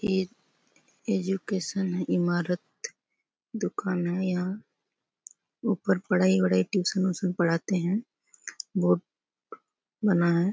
ये एजुकेशन है ईमारत दुकान है यहाँ उपर पढाई वडाई टयूशन व्युसन पढ़ाते है बोर्ड बना है।